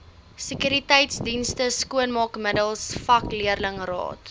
sekuriteitsdienste skoonmaakmiddels vakleerlingraad